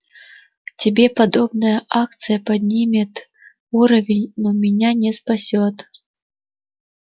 тебе подобная акция поднимет уровень но меня не спасёт